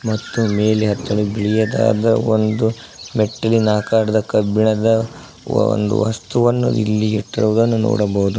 ಮತ್ತು ಮೇಲೆ ಹತ್ತಲು ಬಿಳಿಯದಾದ ಒಂದು ಮೆಚ್ಚಿನಕಾರದ ಕಬ್ಬಿಣದ ಒಂದು ವಸ್ತುವನ್ನು ಇಲ್ಲಿ ಇಟ್ಟಿರುವುದನ್ನು ನೋಡಬಹುದು.